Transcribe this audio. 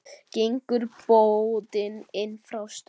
Gengur bótin inn frá strönd.